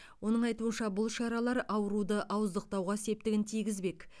оның айтуынша бұл шаралар ауруды ауыздықтауға септігін тигізбек